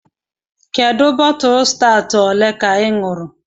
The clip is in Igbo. Kedu bọtụlụ stawụt olee ka ị ṅụrụ??